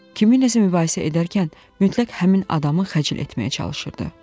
Kiminləsə mübahisə edərkən mütləq həmin adamı xəcil etməyə çalışırdı.